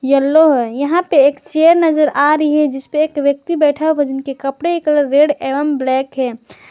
Yellow है यहां पे एक चेयर नजर आ रही है जिस पे एक व्यक्ति बैठा है जिसके के कपड़े कलर रेड एवं ब्लैक है।